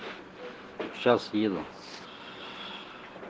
сейчас еду